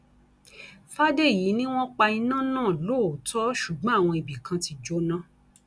fàdèyí ni wọn pa iná náà lóòótọ ṣùgbọn àwọn ibì kan ti jóná